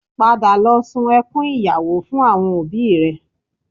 Padà lọ sun ẹkún ìyàwó fún àwọn òbí rẹ